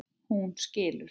Hún skilur.